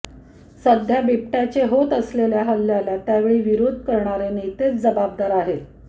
सध्या बिबट्याचे होत असलेल्या हल्ल्याला त्यावेळी विरोध करणारे नेतेच जबाबदार आहेत